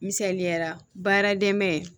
Misaliyara baara dɛmɛ